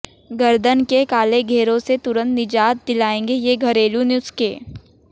गर्दन के काले घेरों से तुरंत निजात दिलाएंगे ये घरेलू नुस्खे